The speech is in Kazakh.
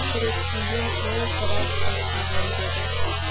жүрексінген ол біраз басылайын деді